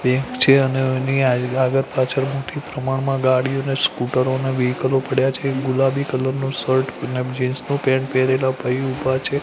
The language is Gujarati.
આગળ પાછળ મોટી પ્રમાણમાં ગાડીઓ ને સ્કૂટરો ને વેહિકલો પડ્યા છે એ ગુલાબી કલર નુ શર્ટ અને જિન્સ નુ પેન્ટ પેહરેલા ભાઈ ઊભા છે.